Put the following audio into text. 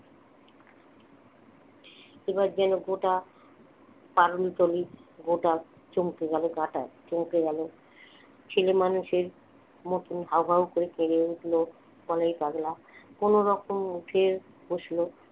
এবার যেন গোটা তারণ তলী চমকে গেল গা টায় চমকে গেল ছেলেমানুষের মতন হাউ হাউ করে কেঁদে উঠলো বলাই পাগলা কোনরকমে উঠে বসলো